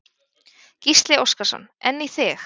Gísli Óskarsson: En í þig?